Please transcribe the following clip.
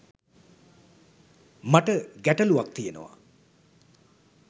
මට ගැටළුවක් තියෙනවා.